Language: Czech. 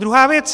Druhá věc.